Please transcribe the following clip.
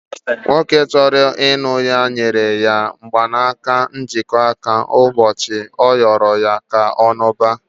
Nwoke chọrọ ilụ ya nyere ya mgbanaka njikọ aka n'ụbọchị ọ rịoro ya ka ọ lụba